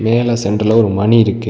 மேல சென்டர்ல ஒரு மணி இருக்கு.